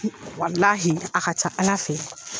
Walahi a ka ca Ala fɛ.